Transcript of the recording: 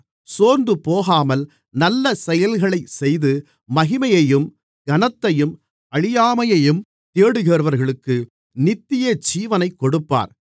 சோர்ந்துபோகாமல் நல்ல செயல்களைச்செய்து மகிமையையும் கனத்தையும் அழியாமையையும் தேடுகிறவர்களுக்கு நித்தியஜீவனைக் கொடுப்பார்